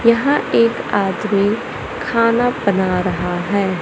यहां एक आदमी खाना बना रहा है।